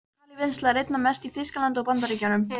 Kalívinnsla er einna mest í Þýskalandi og Bandaríkjunum.